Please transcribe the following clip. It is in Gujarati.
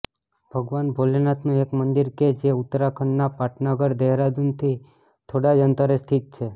ભગવાન ભોલેનાથ નું એક મંદિર કે જે ઉત્તરાખંડના પાટનગર દહેરાદુનથી થોડા જ અંતરે સ્થિત છે